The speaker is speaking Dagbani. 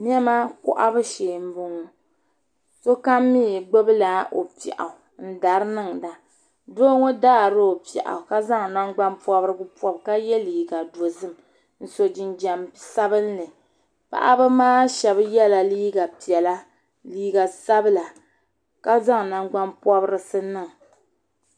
Nema kpahibu sheen bɔŋɔ. sokam mi gbubi la ɔpiɛɣu n daara. n dari niŋda doo ,ɔ faari ɔpiɛɣu ka zaŋ nangban pɔbirigu n pɔbi kaye liiga dozim ncso jinjam sabinli. paɣba maa shebi yela liiga piɛla. liiga sabila ka zaŋ nangban pɔbrisi n niŋ